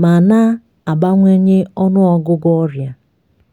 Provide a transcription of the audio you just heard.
ma na-abawanye ọnụ ọgụgụ ọrịa